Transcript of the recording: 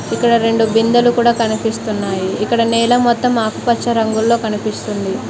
ఇక్కడ రెండు బిందెలు కూడా కనిపిస్తున్నాయి ఇక్కడ నేల మొత్తం ఆకుపచ్చ రంగులో కనిపిస్తుంది.